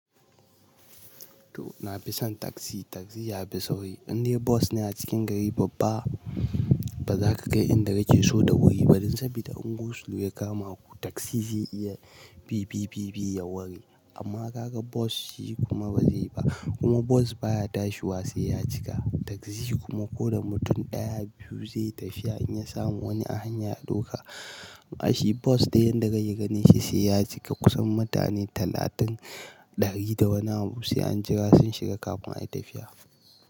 To, na fi son taxi, taxi ya fi sauri. In dai bus ne a cikin gari babba ba za ka kai inda yake so da wuri ba, dan saboda in goslow ya kama ku taxi zai iya bi, bi, bi, bi ya wari. Amma ka ga bos shi kuma ba zai ba. Kuma bos baya tashi wasai ya cika. Taxi kuma ko da mutum ɗaya, biyu zai tafi in ya samu wani a hanya ya ɗauka. Ma shi bus da yan da kai ya gane shi sai ya cika kusan mutane talatin, ɗari da wani abu sai an jira sun shiga kafin ayi tafiya.